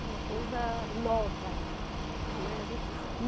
É uma coisa nova, né. A gente